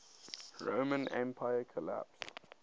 roman empire collapsed